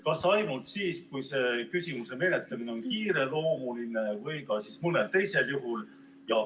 Kas ainult siis, kui küsimuse menetlemine on kiireloomuline, või ka mõnel teisel juhul?